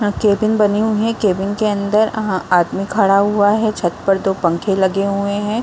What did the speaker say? यहाँ केबिन बनी हुई है | केबिन के अंदर अ आदमी खड़ा हुआ है | छत पर दो पंखे लगे हुए हैं ।